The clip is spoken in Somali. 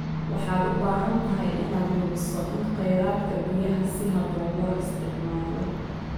Waxaad u baahan tahay inaad hubiso in kheyraadka biyaha si habboon loo isticmaalo.